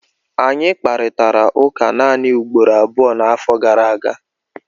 Anyị kparịtara ụka naanị ugboro abụọ n'afọ gara aga